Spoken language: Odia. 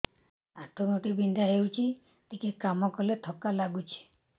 ଆଣ୍ଠୁ ଗଣ୍ଠି ବିନ୍ଧା ହେଉଛି ଟିକେ କାମ କଲେ ଥକ୍କା ଲାଗୁଚି